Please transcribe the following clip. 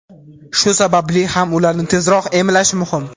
Shu sababli ham ularni tezroq emlash muhim.